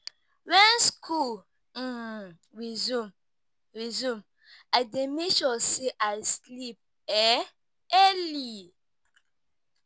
Wen school um resume resume, I dey make sure sey I sleep um early.